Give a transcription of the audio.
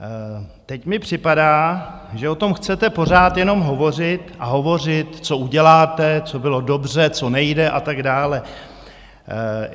Teď mi připadá, že o tom chcete pořád jenom hovořit a hovořit, co uděláte, co bylo dobře, co nejde a tak dále.